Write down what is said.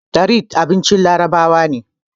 tharid abincin larabawa ne